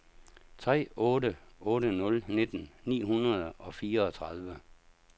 tre otte otte nul nitten ni hundrede og fireogtredive